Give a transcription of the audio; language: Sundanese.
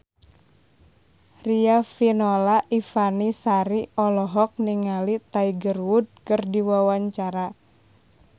Riafinola Ifani Sari olohok ningali Tiger Wood keur diwawancara